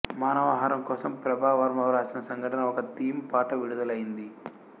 మానవ హారం కోసం ప్రభ వర్మ వ్రాసిన సంఘటన ఒక థీమ్ పాట విడుదలైంది